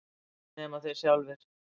Nema þeir sjálfir.